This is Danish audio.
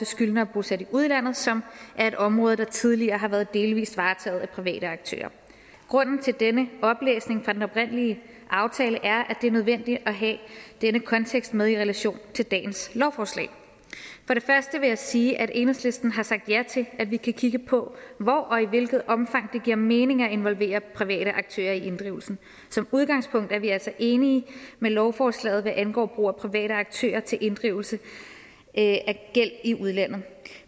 skyldnere bosat i udlandet som er et område der tidligere har været delvist varetaget af private aktører grunden til denne oplæsning fra den oprindelige aftale er at det er nødvendigt at have den kontekst med i relation til dagens lovforslag for det første vil jeg sige at enhedslisten har sagt ja til at vi kan kigge på hvor og i hvilket omfang det giver mening at involvere private aktører i inddrivelsen som udgangspunkt er vi altså enige med lovforslaget hvad angår brug af private aktører til inddrivelse af gæld i udlandet